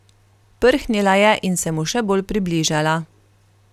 Prhnila je in se mu še bolj približala.